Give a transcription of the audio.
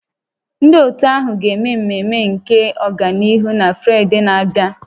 Ndị otu ahụ ga-eme mmemme nke ọganihu na Fraịde na-abịa